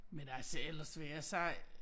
Men altså ellers vil jeg sige